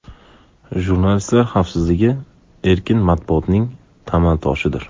Jurnalistlar xavfsizligi erkin matbuotning tamal toshidir.